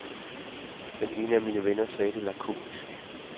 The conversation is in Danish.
Den ene af mine venner sagde det lakonisk.